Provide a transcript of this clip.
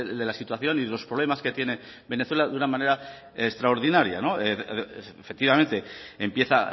de la situación y de los problemas que tiene venezuela de una manera extraordinaria efectivamente empieza